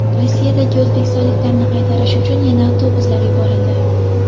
Rossiyadagi o‘zbekistonliklarni qaytarish uchun yana avtobuslar yuborildi.